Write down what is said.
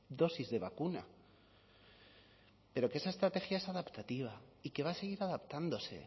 dosis de vacuna pero que esa estrategia es adaptativa y que va a seguir adaptándose